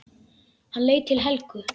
Hann leit til Helgu.